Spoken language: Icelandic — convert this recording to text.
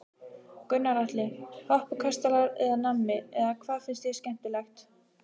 Gunnar Atli: Hoppukastalar eða nammi eða hvað finnst þér skemmtilegt?